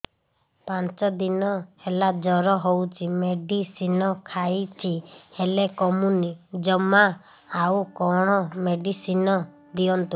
ପାଞ୍ଚ ଦିନ ହେଲା ଜର ହଉଛି ମେଡିସିନ ଖାଇଛି ହେଲେ କମୁନି ଜମା ଆଉ କଣ ମେଡ଼ିସିନ ଦିଅନ୍ତୁ